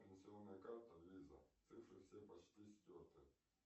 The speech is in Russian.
пенсионная карта виза цифры все почти стерты